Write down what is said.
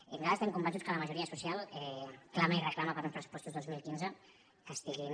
i nos·altres estem convençuts que la majoria social clama i reclama uns pressupostos dos mil quinze que estiguin